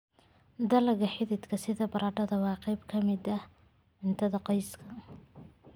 Dalagga xididka sida baradhada waa qayb ka mid ah cuntada qoyska.